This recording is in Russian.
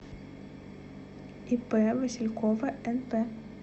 ип василькова нп